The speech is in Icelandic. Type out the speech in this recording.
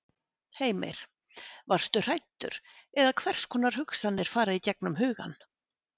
Heimir: Varstu hræddur eða hvers konar hugsanir fara í gegnum hugann?